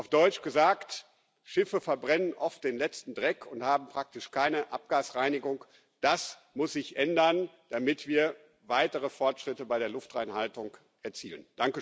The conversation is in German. Auf Deutsch gesagt, Schiffe verbrennen oft den letzten Dreck und haben praktisch keine Abgasreinigung. Das muss sich ändern, damit wir weitere Fortschritte bei der Luftreinhaltung erzielen.